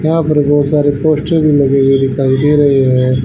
यहां पे बहोत सारे पोस्टर भी लगे हुए दिखाई दे रहे है।